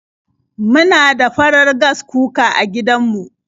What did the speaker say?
Muna da farar Gas cooker a gidan mu.